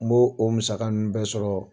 N b'o o musaka ninnu bɛɛ sɔrɔ.